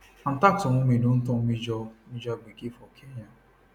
attacks on women don turn major major gbege for kenya